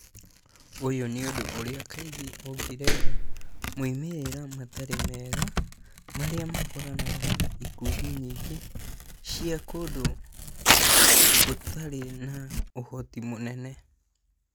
ũyũ nĩũndũ ũrĩa kaingĩ ũngĩrehe moimĩrĩra matarĩ mega marĩa makoranaga na ikundi nyingĩ cia kũndũ gĩtarĩ na ũhoti mũnene.